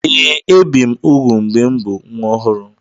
Ee, ebi m úgwù mgbe m bụ nwa ọhụrụ.